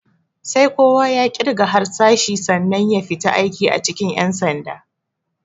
Sai kowa ya ƙirga harsashi sannan ya fita aiki a cikin ƴan sanda.